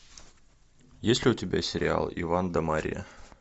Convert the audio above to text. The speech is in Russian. есть ли у тебя сериал иван да марья